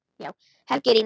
Helgi rýnir.